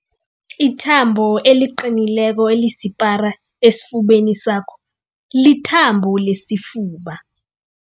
Ithambo eliqinileko elisipara esifubeni sakho lithambo lesifuba.